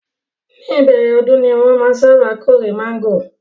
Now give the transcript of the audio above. Ní ìbẹ̀rẹ̀ ọdún ni wọ́n máa ń sábà kórè mángòrò